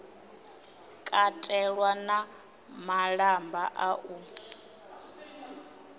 katelwa na malamba a u